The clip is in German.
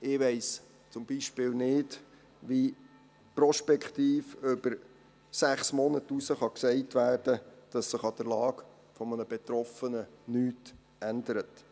Ich weiss zum Beispiel nicht, wie prospektiv über sechs Monate hinaus gesagt werden kann, dass sich an der Lage eines Betroffenen nichts ändert.